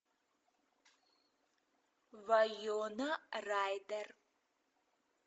вайнона райдер